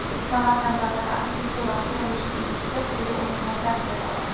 Samarqand davlat arxitektura-qurilish instituti quyi o‘rinlardan joy oldi.